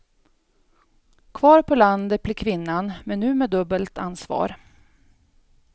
Kvar på landet blir kvinnan, men nu med dubbelt ansvar.